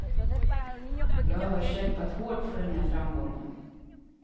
Jag har kämpat hårt för den här framgången.